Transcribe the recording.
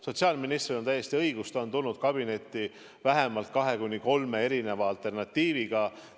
Sotsiaalministril on täiesti õigus, ta on tulnud kabinetti vähemalt kahe-kolme alternatiiviga.